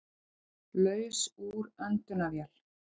Laus úr öndunarvél